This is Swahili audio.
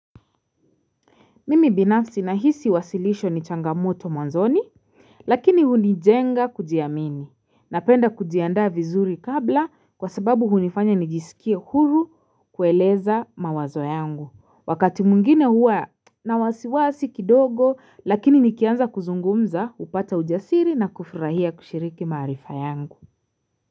Mimi binafsi nahisi wasilisho ni changamoto mwanzoni Lakini hunijenga kujiamini Napenda kujiandaa vizuri kabla kwa sababu hunifanya nijiskie huru kueleza mawazo yangu Wakati mwingine huwa na wasiwasi kidogo lakini nikianza kuzungumza hupata ujasiri na kufurahia kushiriki marifa yangu.